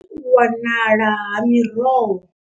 Vho ri, U wanala ha miroho.